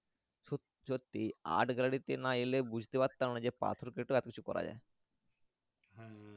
সত্যি Art Gallery তে না এলে বুঝতে পারতাম না পাথর কেটে কিছু করা যাই